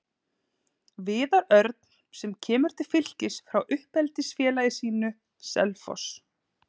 Viðar Örn sem kemur til Fylkis frá uppeldisfélagi sínu, Selfoss.